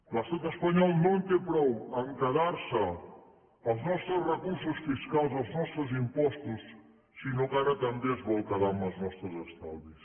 l’estat espanyol no en té prou a quedar se els nostres recursos fiscals els nostres impostos sinó que ara també es vol quedar amb els nostres estalvis